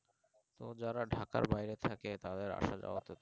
তো যারা ঢাকা বাইরে থাকে তারা আসা যাওয়া করতে